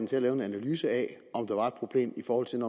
til at lave en analyse af om der var et problem i forhold til